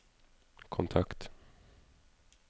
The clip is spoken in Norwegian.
kontakt